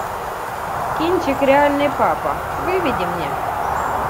кинчик реальный папа выведи мне